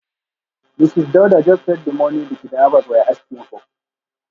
Mrs Dauda just paid the money the kidnappers were asking for.